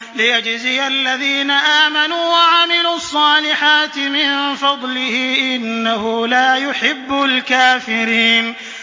لِيَجْزِيَ الَّذِينَ آمَنُوا وَعَمِلُوا الصَّالِحَاتِ مِن فَضْلِهِ ۚ إِنَّهُ لَا يُحِبُّ الْكَافِرِينَ